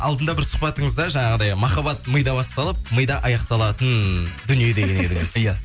алдында бір сұхбатыңызда жаңағыдай махаббат мида басталып мида аяқталатын дүние деген едіңіз ия